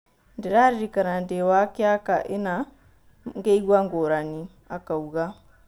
"Ndĩraririkana ndĩ-wakiaka ĩna mgĩigua ngũrani," akauga.